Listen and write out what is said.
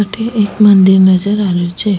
अठे एक मंदिर नजर आ रियो छे।